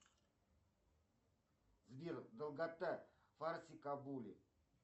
сбер долгота фарси кабули